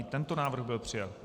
I tento návrh byl přijat.